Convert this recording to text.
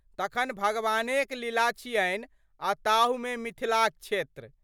तखन भगवानेक लीला छियनि आ ताहूमे मिथिलाक क्षेत्र।